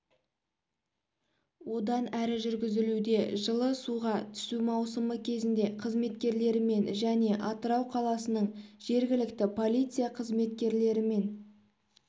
одан әрі жүргізілуде жылы суға түсу маусымы кезінде қызметкерлерімен және атырау қаласының жергілікті полиция қызметкерлерімен